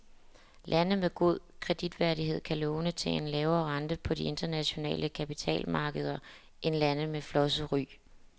Lande med god kreditværdighed kan låne til en lavere rente på de internationale kapitalmarkeder end lande med flosset ry.